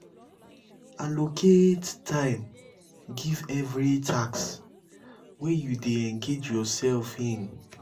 allocate time give every task wey you dey engage yourself in